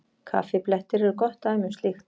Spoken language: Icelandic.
Kaffiblettir eru gott dæmi um slíkt.